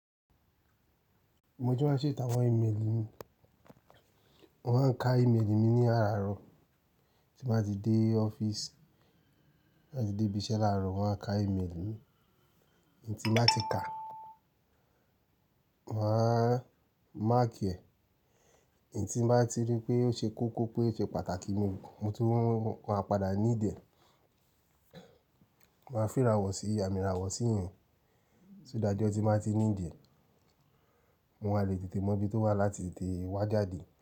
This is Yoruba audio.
Mo ti máa ń ṣèto awọn ìméèlì mi. Wọ́n á ka ìméèlì mi ní àràárọ̀ tí màá ti dé ọ́fíìsì, tí màá ti dé ibi iṣẹ́ làárọ̀ wọn á ka ìméèlì mi. Ẹni tí màá ti ka, màá mark ẹ. Ẹni tí bàá ti rí pé óṣe kókó pé ó ṣe pàtàkì ni mo tún wọ́n á padà need e. Wọ́n á fìra wọ̀ sí àmì ìràwọ̀ sí ìyẹn. Só that ijọ́ tí màá ti need ẹ̀, wọn a lè tètè mọ bí ó wà láti tètè wá jáde.